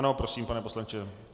Ano, prosím, pane poslanče.